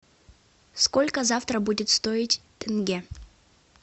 сколько завтра будет стоить тенге